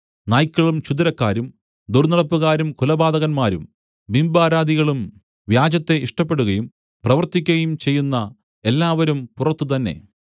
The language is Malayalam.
നായ്ക്കളും ക്ഷുദ്രക്കാരും ദുർന്നടപ്പുകാരും കുലപാതകന്മാരും ബിംബാരാധികളും വ്യാജത്തെ ഇഷ്ടപ്പെടുകയും പ്രവർത്തിക്കയും ചെയ്യുന്ന എല്ലാവരും പുറത്തുതന്നെ